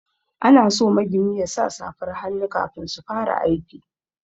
Ana so magini yasa safar hannu kafin su fara aiki.